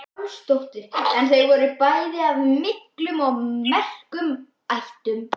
Pálsdóttir en þau voru bæði af miklum og merkum ættum.